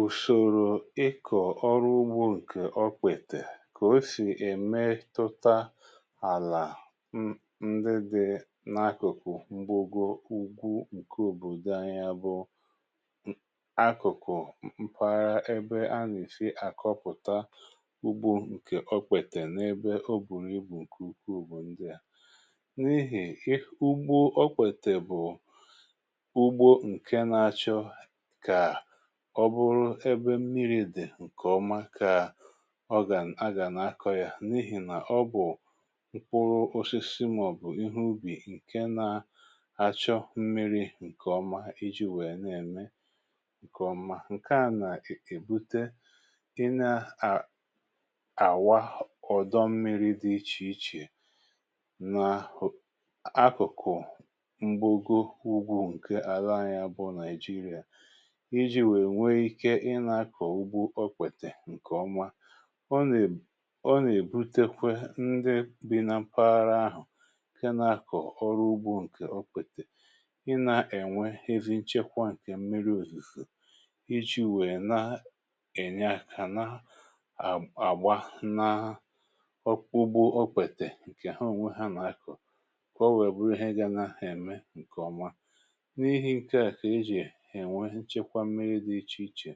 Ùsòrò ịkọ̀ ọrụ ugbo ǹkè ọkpètè kà o sì èmetụta àlà um ndị dị n’akụ̀kụ̀ mgbago ugwu ǹke òbòdò anyi a bụ akụ̀kụ̀ mpàhara ebe ana èsi àkọpụ̀ta ugbo ǹkè okpètè n’ebe o bùrù ibù ǹkè ukwu bu ndi a: n’ihì ugbo okpètè bụ̀ ugbo nke na achọ kà ọ bụrụ ebe mmiri dị̀ ǹkè ọma kà ọ gà.. a gà na-akọ yȧ n’ihì nà ọ bụ̀ mkpụrụ osisi màọ̀bụ̀ ihe ubì ǹke na-achọ̇ mmiri ǹkè ọma iji̇ nwèe nà-ème ǹkè ọma. Nke à nà-èbute ịne à àwà ọ̀dọ mmiri dị ichè ichè nà akụ̀kụ̀ m̀gbò go ugwu ǹke àla anyị a bụ̇ Naijiria iji nwèe nwe ike ị nȧ-ȧkọ̀ ugbo okpètè ǹkè ọmȧ ọ na ọ nà-èbutekwe ndị bị na mpaghara ahụ̀ ǹke nȧ-ȧkọ̀ ọrụ ugbu ǹkè ọkpètè ị nȧ-ènwe ezi nchekwa ǹkè mmiri òzizò iji̇ nwèe na ènye àkà na àgba na um ugbo okpètè ǹkè ha ònwe ha nà-akọ̀ ka owèe bụrụ ihe ga nȧ ème ǹkè ọmȧ. N’ihi ǹkè a kà e jì enwe nchekwa mmiri dị ichè ichè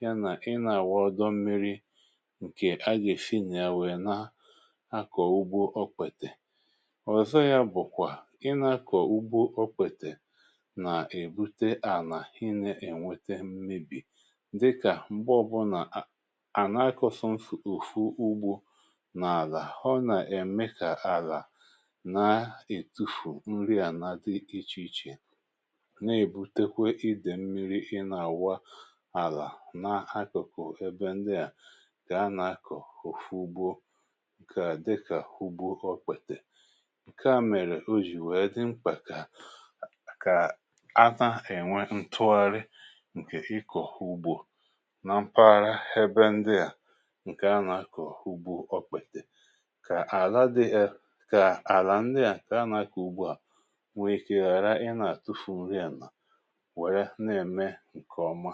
ya nà ị nà-àwa ọdọ mmiri̇ ǹkè agà-èsi nà ya wèe na-akọ̀ ugbo okpètè. Ọzọ yȧ bụ̀kwà, ị nà-akọ̀ ugbo okpètè nà-èbute ànà i nė-ènwete mmebì dịkà m̀gbe ọbụlà à ànà-akọ sọọsọ ofu ugbȯ n’àlà ọ nà-ème kà àlà na-ètufù nri à na-adị̇ ichè ichè na ebutekwa ide mmiri ịna awa àlà na akụ̀kụ̀ ebe ndị à kà a nà-akọ̀ òfu ugbo nkè a dịkà ụgbọ ọkpète. Ǹkè a mèrè o jì wèe dịmkpà kà kà ana ènwe ǹtụgharị ǹkè ikọ̀ ụgbọ̀ na mpaghara ebe ndị à ǹkè a nà-akọ̀ ụgbọ ọkpète kà àlà dị ee kà àlà ndị à kà a nà-akọ̀ ụgbọ à nwee ikė ghara ị nà-àtufu nri ala wéé n'ème nke ọma.